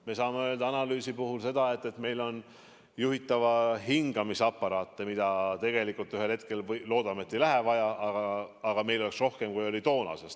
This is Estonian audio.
Me saame öelda, et juhitava hingamise aparaate peaks olema rohkem, kui oli toona.